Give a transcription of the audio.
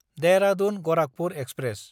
Dehradun Gorakhpur express